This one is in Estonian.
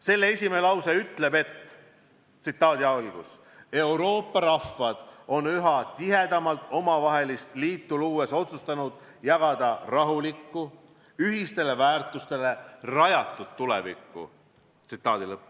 Selle esimene lause ütleb: "Euroopa rahvad on üha tihedamat omavahelist liitu luues otsustanud jagada rahulikku, ühistele väärtustele rajatud tulevikku.